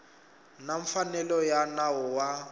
na mfanelo ya nawu wa